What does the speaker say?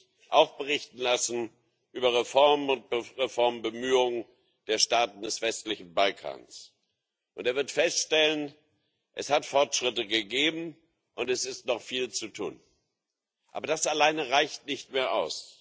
Herr Präsident, liebe Kolleginnen und Kollegen! Der Rat wird sich auch berichten lassen über Reformen und Reformbemühungen der Staaten des westlichen Balkans, und er wird feststellen Es hat Fortschritte gegeben, und es ist noch viel zu tun. Aber das alleine reicht nicht mehr aus.